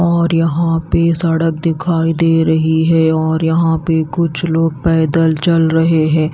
और यहां पे सड़क दिखाई दे रही है और यहां पे कुछ लोग पैदल चल रहे हैं।